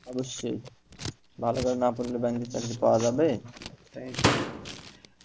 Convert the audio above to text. অবশ্যই, ভালো করে না পড়লে ব্যাংকের চাকরি পাওয়া যাবে?